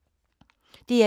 DR1